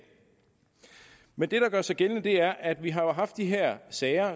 men det der gør sig gældende er at vi har haft de her sager